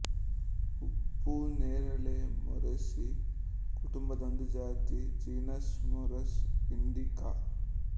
ಉಪ್ಪು ನೇರಳೆ ಮೊರೇಸಿ ಕುಟುಂಬದ ಒಂದು ಜಾತಿ ಜೀನಸ್ ಮೊರಸ್ ಇಂಡಿಕ